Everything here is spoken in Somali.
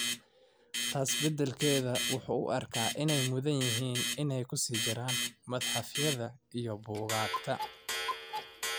taas bedelkeeda wuxuu u arkaa inay mudan yihiin inay ku sii jiraan madxafyada iyo buugaagta.